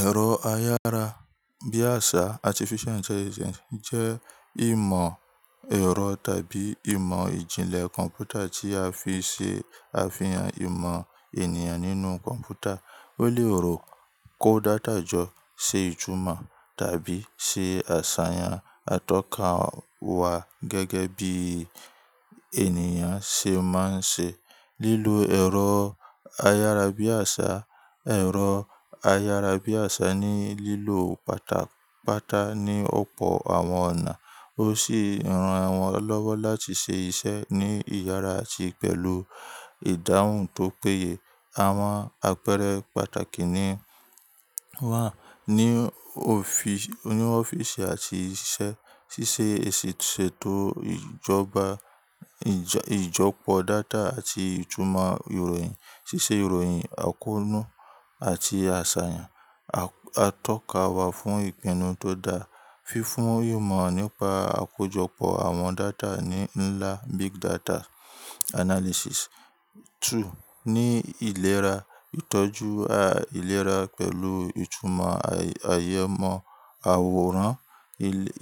Ẹ̀rọ ayára bí àṣá Artificial Intelligence jẹ́ ìmọ̀ ẹ̀rọ tàbí ìmọ̀ ìjìnlẹ̀ kọ̀m̀pútà tí a fi ṣe àfihàn ìmọ̀ ènìyàn nínú kọ̀m̀pútà. Ó lè rò, kó data jọ, ṣe ìtumọ̀ tàbí ṣe àṣàyàn atọ́ka wa gẹ́gẹ́ bí ènìyàn ṣe máa ń ṣe. Lílo ẹ̀rọ ayára bí àṣá, ẹ̀rọ ayára bí àṣá ní lílo pátápátá ní ọ̀pọ̀ àwọn ọ̀nà. Ó sì ran wọn lọ́wọ́ láti ṣe iṣẹ́ ní ìyára àti pẹ̀lú ìdáhùn tó péye. Àwọn àpẹẹrẹ pàtàkì ni wà ní òfi-- ní ọ́fíìsì àti iṣẹ́, ṣíṣe èsètò ìjọba, ìjọ-- ìjọ́pọ̀ data àti ìtumọ̀ ìròyìn, ṣíṣe ìròyìn àkọ́nú àti àṣàyàn atọ́ka wa fún ìpinnu tó dáa, fífún ìmọ̀ nípa àkójọpọ̀ àwọn data ní ńlá Big Data Analysis. Two, ní ìlera, ìtọ́jú a ìlera pẹ̀lú ìtumọ̀ àyẹ̀mọ́ àwòrán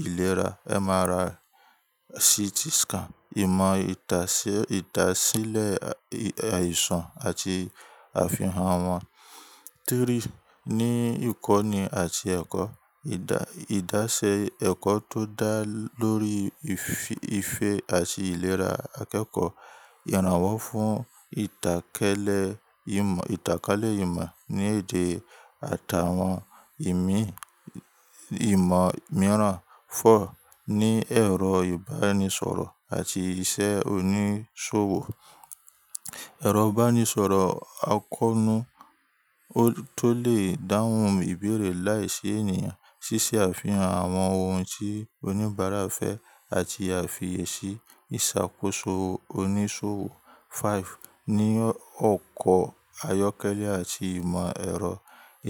ìlera MRI, CT scan, ìmọ̀ ìtàsílẹ̀ àìsàn àti àfihàn won. Three, ní ìkọ́ni àti ẹ̀kọ́, ìdá-- ìdásẹ́ ẹ̀kọ́ tó dá lóri ìfe àti ìlera akẹ́kọ̀ọ́, ìrànwọ́ fún ìtàkálẹ̀ ìmọ̀, ìtàkálẹ̀ ìmọ̀ ní èdè àtàwọn ìmì-- ìmọ̀ mìíràn. Four, ní ẹ̀rọ ìbánisọ̀rọ̀ àti iṣẹ́ oníṣòwò, ẹ̀rọ ìbánisọ̀rọ̀ àkọ́nú tó lè dáhùn ìbéèrè láìsí ènìyàn, ṣíṣe àfihàn àwọn ohun tí oníbàárà fẹ́ àti àfiyèsí ìṣàkóso oníṣòwò. Five, ní ọkọ̀ ayọ́kẹ́lẹ́ àti ìmọ̀ ẹ̀rọ,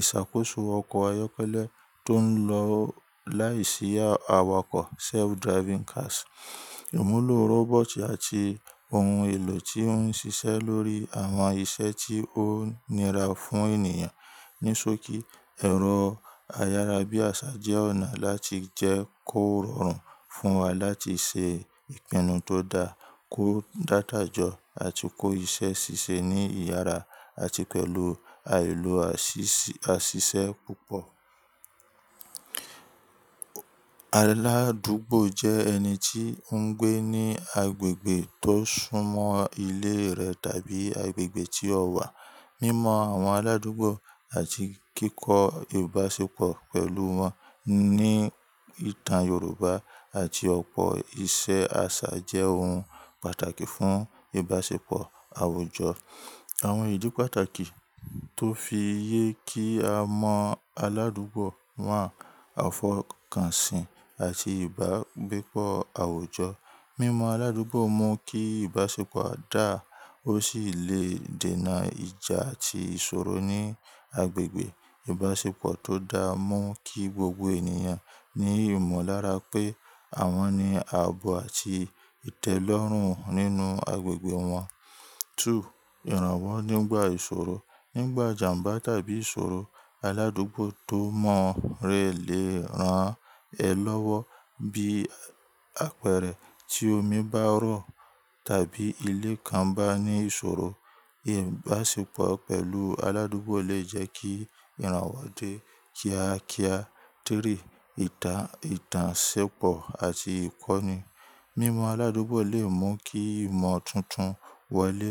ìṣàkóso ọkọ̀ ayọ́kẹ́lẹ́ tó ń lọ láìsí awakọ̀ self-driving cars, ìmúlò robot àti ohun èlò tí ó ń ṣiṣẹ́ lórí àwọn iṣẹ́ tí ó nira fún ènìyàn. Nisoki, ẹ̀rọ ayára bí àṣá jẹ́ ọ̀nà láti jẹ́ kó rọrùn fún wa láti ṣe ìpinnu tó dáa, kó data jọ àti kó iṣẹ́ ṣíṣe ní ìyára àti pẹ̀lú àìló àṣìṣẹ́ púpọ̀. Aládùúgbò jẹ́ ẹni tí ń gbé ní agbègbè tó súnmọ́ ilé rẹ̀ tàbí agbègbè tí ó wà. Mímọ àwọn aládùúgbò àti kíkọ ìbáṣepọ̀ pẹ̀lú wọn ní ìtàn Yorùbá àti ọ̀pọ̀ iṣẹ́ àṣà jẹ́ ohun pàtàkì fún ìbáṣepọ̀ àwùjọ. Àwọn ìdí pàtàkì tó fi yé kí a mọ aládùúgbò wà, àfọkànsìn àti ìbágbépọ̀ àwùjọ. Mímọ aládùúgbò mú kí ìbáṣepọ̀ dáa, ó sì lè dènà ìjà àti ìṣòro ní agbègbè. Ìbáṣepọ̀ tó dáa mú kí gbogbo ènìyàn ní ìmọ̀lára pé àwọn ni ààbò àti ìtẹ́lọ́rùn nínú agbègbè wọn. Two, ìrànwọ́ nígbà ìṣòro, nígbà ìjàmbá tàbí ìṣòro, aládùúgbò tó mọ̀ rẹ lè ràn ẹ́ lọ́wọ́ bí apẹ̀rẹ̀ tí omi bá rọ̀ tàbí ilé kan bá ní ìṣòro. Ìbáṣepọ̀ pẹ̀lú aládùúgbò lè jẹ́ kí ìrànwọ́ dé kíákíá. Three, ìtà-- ìtànṣépọ̀ àti ìkọ́ni, mímọ aládùúgbò lè mú kí ìmọ̀ tuntun wọlé.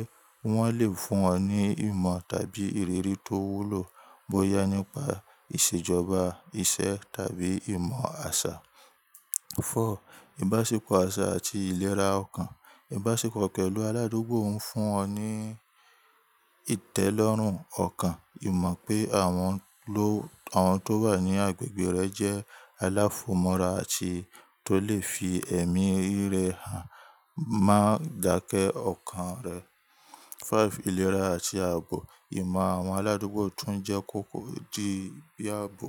Wọn lè fún ọ ní ìmọ̀ tàbí ìrírí tó wúlò bóyá nípa ìṣèjọba, ìṣe tàbí ìmọ̀ àṣà. Four, ìbáṣepọ̀ àṣà àti ìlera ọkàn, ìbáṣepọ̀ pẹ̀lú aládùúgbò ń fún ọ ní ìtẹ́lọ́rùn ọkàn. Ìmọ̀ pé àwọn ló-- àwọn tó wà ní agbègbè rẹ jẹ́ aláfọmọ́ra àti tó lè fi ẹ̀mí rẹ hàn máa dàkẹ́ ọkàn rẹ. Five, ìlera àti ààbò, ìmọ̀ àwọn aládùúgbò tún jẹ́ kòkò dí bí ààbò.